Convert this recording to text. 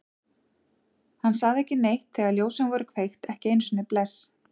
Hann sagði ekki neitt þegar ljósin voru kveikt, ekki einu sinni bless.